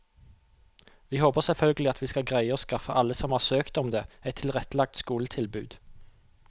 Vi håper selvfølgelig at vi skal greie å skaffe alle som har søkt om det, et tilrettelagt skoletilbud.